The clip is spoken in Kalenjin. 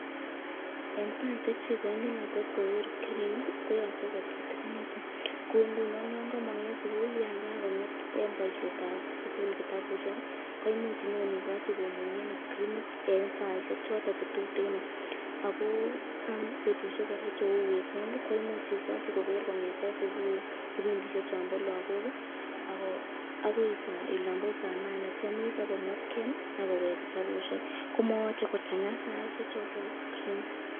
En saishek chekoini lakwet koker skrinit ko yoche ko tutukinitu kouu ng'unon yoon komong en sukul yoon ka kong'et en boishetab sukul kitabushek koimuch inyoikochi komunyen skrinit en saishek choton chetuten ak ko en betushek kora cheuu weekend koimuch ikochi koker kong'eten subui kibindishek chombo lokok akoi olombo saa nane kwomis AK komwetkee akowek kitabushek, komoyoche kochang'a saishe choton boo skrinit.